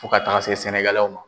Fo ka taga se sɛnɛgalɛw ma.